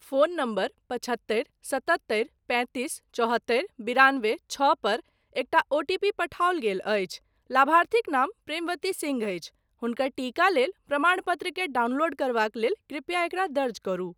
Phone number पचहत्तरि सत्तहत्तरि पैंतीस चौहत्तरि बिरानबे छओ पर एकटा ओटीपी पठाओल गेल अछि, लाभार्थीक नाम प्रेमवती सिंह अछि, हुनकर टीका लेल प्रमाणपत्रकेँ डाउनलोड करबाक लेल कृपया एकरा दर्ज करू।